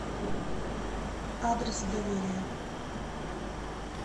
адрес доверие